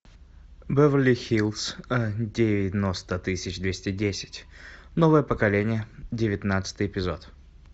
беверли хиллз девяносто тысяч двести десять новое поколение девятнадцатый эпизод